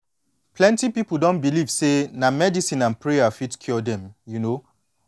plenty pipu don believe say na medicine and prayer fit cure dem you know